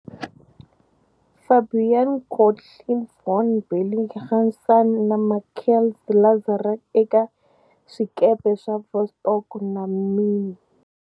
Fabian Gottlieb von Bellingshausen na Mikhail Lazarev eka swikepe swa "Vostok" na"Mirny".